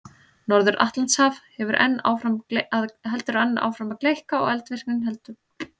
Norður-Atlantshaf heldur enn áfram að gleikka og eldvirkni heldur áfram á Íslandi.